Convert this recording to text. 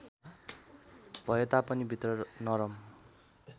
भएतापनि भित्र नरम